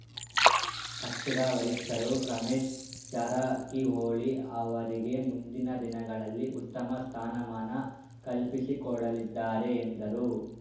ಪಕ್ಷದ ವರಿಷ್ಠರು ರಮೇಶ್‌ ಜಾರಕಿಹೊಳಿ ಅವರಿಗೆ ಮುಂದಿನ ದಿನಗಳಲ್ಲಿ ಉತ್ತಮ ಸ್ಥಾನಮಾನ ಕಲ್ಪಿಸಿಕೊಡಲಿದ್ದಾರೆ ಎಂದರು